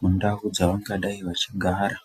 mundau dzavangadai vachigara.